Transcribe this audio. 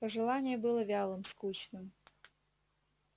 пожелание было вялым скучным